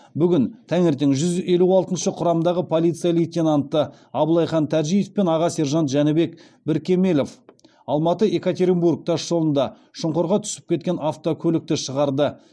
бүгін таңертең жүз елу алтыншы құрамдағы полиция лейтенанты абылайхан тәжиев пен аға сержант жәнібек біркемелов алматы екатеринбург тасжолында шұңқырға түсіп кеткен автокөлікті шығарды